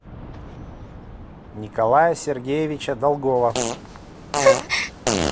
николая сергеевича долгова